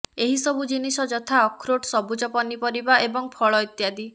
ଏହି ସବୁ ଜିନିଷ ଯଥା ଅଖରୋଟ ସବୁଜ ପନିପରିବା ଏବଂ ଫଳ ଇତ୍ୟାଦି